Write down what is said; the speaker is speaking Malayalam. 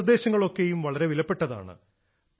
ഈ നിർദ്ദേശങ്ങളൊക്കെയും വളരെ വിലപ്പെട്ടതാണ്